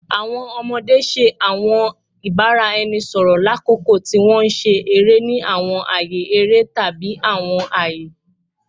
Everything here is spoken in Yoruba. Awọn ọmọde ṣe awọn ibaraẹnisọrọ lakoko ti wọn nṣere ni awọn aaye ere tabi awọn aaye